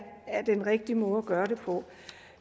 den rigtige måde at gøre det på